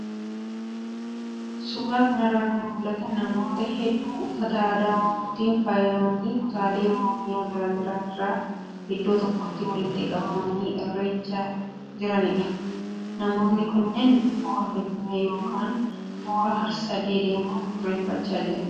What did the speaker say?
Suuraa kanarraa kan mul'atan namoota hedduu uffata aadaa oromootiin faayamanii kutaalee Oromiyaa garaagaraa irraa iddoo tokkotti walitti qabamanii irreechaa jiranidha. Namoonni kunneen hora Finfinee yookaan hora harsadee deemuun irreeffachaa jiru.